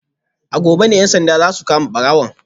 A gobe ne ‘yan sandan za su kama barawon